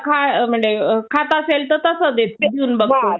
खाता असेल तर तसं देऊन बघतो